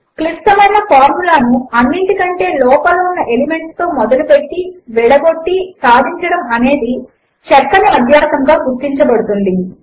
క్లిష్టమైన ఫార్ములా ను అన్నిటికంటే లోపల ఉన్న ఎలిమెంట్లతో మొదలు పెట్టి విడగొట్టి సాధించడము అనేది చక్కని అభ్యాసముగా గుర్తింపబడుతుంది